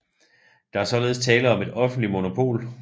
Der er således tale om et offentligt monopol